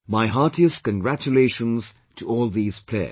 My heartiest congratulations to all these players